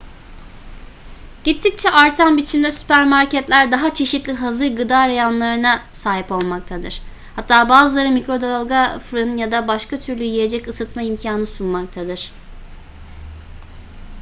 gittikçe artan biçimde süpermarketler daha çeşitli hazır gıda reyonlarına sahip olmaktadır hatta bazıları mikrodalga fırın ya da başka türlü yiyecek ısıtma imkanı sunmaktadır